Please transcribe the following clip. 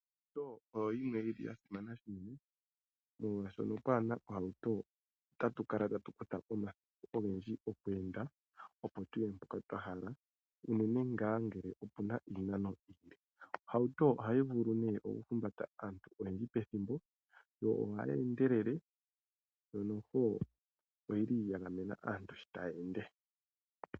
Ohauto oyo yimwe yili ya simana shinene, molwashoka uuna pwaana ohauto, otatu kala tatu kutha omathimbo ogendji okweenda opo tuye mpoka twahala uunene nga ngele opuna iinano iile. Ohauto ohayi vulu ne oku humbata aantu oyendji pethimbo yo ohayi endelele yo noho oyili ya gamena aantu shii taya ende.